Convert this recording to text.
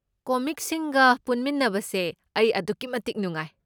ꯀꯣꯃꯤꯛꯁꯤꯡꯒ ꯄꯨꯟꯃꯤꯟꯅꯕꯁꯦ ꯑꯩ ꯑꯗꯨꯛꯀꯤꯃꯇꯤꯛ ꯅꯨꯡꯉꯥꯏ꯫